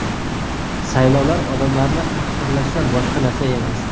Saylovlar odamlarni tahqirlashdan boshqa narsa emas.